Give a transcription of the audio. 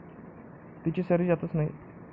तिची सर्दी जातच नाही.